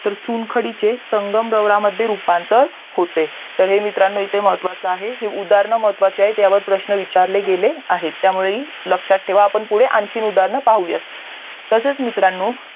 तर चुन खडीचे संगांरावरमध्ये रूपांतर होते तर हे मित्रांनो इथे महत्वाचा आहे हे उदाहरणे महत्वाचे आहेत ह्यावर प्रश्न विचारले गेले आहेत त्यामुळे ही लक्ष्यात ठेवा आपण पुढे आणखी उदाहरणे पाहुयात तसेच मित्रांनो